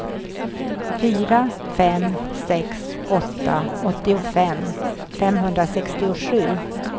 fyra fem sex åtta åttiofem femhundrasextiosju